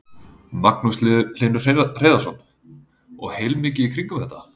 Magnús Hlynur Hreiðarsson: Og heilmikið í kringum þetta?